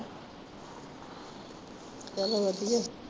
ਚਲੋ ਵਧੀਆ।